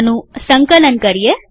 આનું સંકલન કરીએ